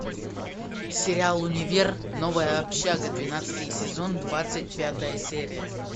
сериал универ новая общага двенадцатый сезон двадцать пятая серия